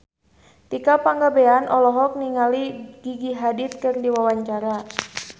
Tika Pangabean olohok ningali Gigi Hadid keur diwawancara